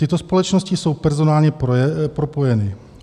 Tyto společnosti jsou personálně propojeny.